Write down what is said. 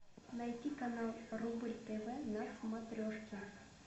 найти канал рубль тв на смотрешке